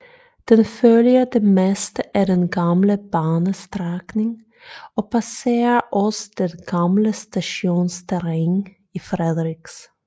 Den følger det meste af den gamle banestrækning og passerer også det gamle stationsterræn i Frederiks